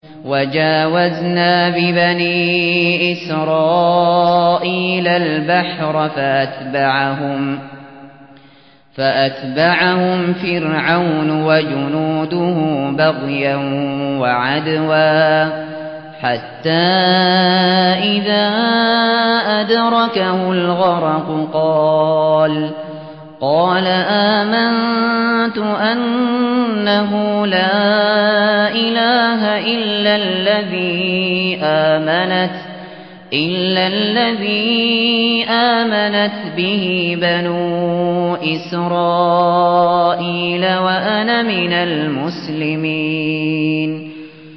۞ وَجَاوَزْنَا بِبَنِي إِسْرَائِيلَ الْبَحْرَ فَأَتْبَعَهُمْ فِرْعَوْنُ وَجُنُودُهُ بَغْيًا وَعَدْوًا ۖ حَتَّىٰ إِذَا أَدْرَكَهُ الْغَرَقُ قَالَ آمَنتُ أَنَّهُ لَا إِلَٰهَ إِلَّا الَّذِي آمَنَتْ بِهِ بَنُو إِسْرَائِيلَ وَأَنَا مِنَ الْمُسْلِمِينَ